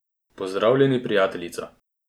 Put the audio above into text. Pozdravljeni, prijateljica!